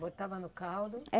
Botava no caldo? É